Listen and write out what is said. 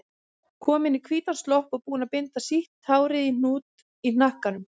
Komin í hvítan slopp og búin að binda sítt hárið í hnút í hnakkanum.